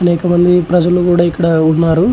అనేక మంది ప్రజలు కూడా ఇక్కడ ఉన్నారు.